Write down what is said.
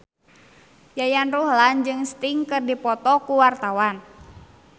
Yayan Ruhlan jeung Sting keur dipoto ku wartawan